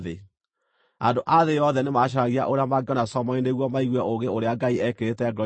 Andũ a thĩ yothe nĩmacaragia ũrĩa mangĩona Solomoni nĩguo maigue ũũgĩ ũrĩa Ngai eekĩrĩte ngoro-inĩ yake.